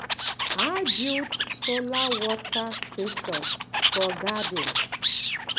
i build solar water station for garden